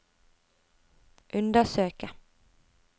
undersøke